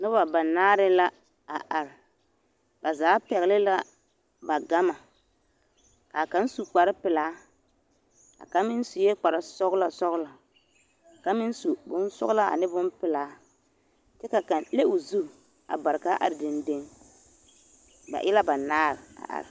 Noba banaare la a are, ba zaa pɛgele la ba gama k'a kaŋ su kpare pelaa a kaŋ meŋ sue kpare sɔgelɔ sɔgelɔ kaŋ meŋ su bonsɔgelaa ane bompelaa kyɛ ka kaŋ le o zu a bare k'a are dendeŋ, ba e la banaare a are.